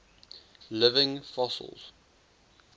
living fossils